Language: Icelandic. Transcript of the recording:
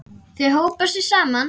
Þau hópa sig saman.